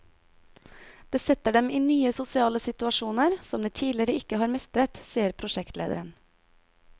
Det setter dem i nye sosiale situasjoner, som de tidligere ikke har mestret, sier prosjektlederen.